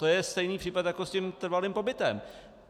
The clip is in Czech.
To je stejný případ jako s tím trvalým pobytem.